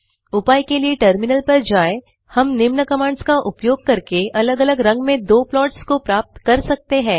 उपाय के लिए टर्मिनल पर जाए हम निम्न कमांड्स का उपयोग करके अलग अलग रंग में दो प्लॉट्स को प्राप्त कर सकते हैं